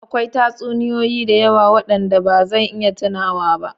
Akwai tatsuniyoyi da yawa waɗanda ba zan iya tunawa ba.